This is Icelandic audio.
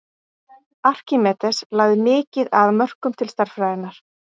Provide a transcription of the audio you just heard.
Arkímedes lagði mikið að mörkum til stærðfræðinnar.